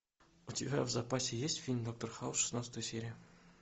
у тебя в запасе есть фильм доктор хаус шестнадцатая серия